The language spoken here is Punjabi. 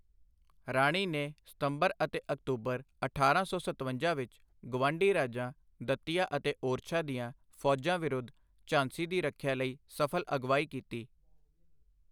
ਰਾਣੀ ਨੇ ਸਤੰਬਰ ਅਤੇ ਅਕਤੂਬਰ ਅਠਾਰਾਂ ਸੌ ਸਤਵੰਜਾ ਵਿੱਚ ਗੁਆਂਢੀ ਰਾਜਾਂ ਦਤੀਆ ਅਤੇ ਓਰਛਾ ਦੀਆਂ ਫ਼ੌਜਾਂ ਵਿਰੁੱਧ ਝਾਂਸੀ ਦੀ ਰੱਖਿਆ ਲਈ ਸਫ਼ਲ ਅਗਵਾਈ ਕੀਤੀ।